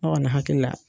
Ne kɔni hakili la